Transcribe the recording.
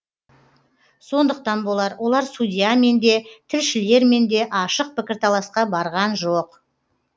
сондықтан болар олар судьямен де тілшілермен де ашық пікірталасқа барған жоқ